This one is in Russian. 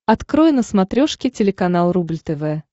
открой на смотрешке телеканал рубль тв